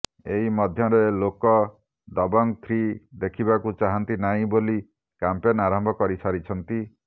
ଏହି ମଧ୍ୟରେ ଲୋକ ଦବଙ୍ଗ ଥ୍ରି ଦେଖିବାକୁ ଚାହାଁନ୍ତି ନାହିଁ ବୋଲି କ୍ୟାମ୍ପେନ ଆରମ୍ଭ କରି ସାରିଛନ୍ତି